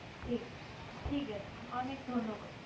ঠিক ঠিক আছে, অনেক ধন্যবাদ।